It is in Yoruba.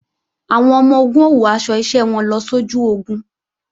Àwọn ọmọ-ogun ó wọ aṣọ iṣẹ́ wọn lọ sójú ogun